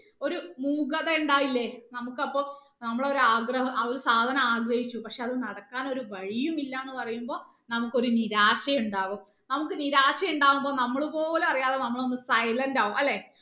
ഒരു മൂകത ഉണ്ടാവില്ലേ നമുക്ക് അപ്പൊ നമ്മളെ ഒരു ആഗ്രഹം ആ ഒരു സാധനം ആഗ്രഹിച്ചു പക്ഷെ അത് നടക്കാൻ ഒരു വഴിയും ഇല്ല എന്ന് പറയുമ്പോ നമുക്കൊരു നിരാശ ഉണ്ടാവും നമുക്ക് നിരാശ ഉണ്ടാവുമ്പോ നമ്മള് പോലും അറിയാതെ നമ്മള് ഒന്ന് silent ആവും അല്ലെ